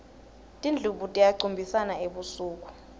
tindlubu tiyacumbisana ebusuku